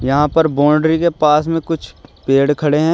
यहां पर बाउंड्री के पास में कुछ पेड़ खड़े हैं।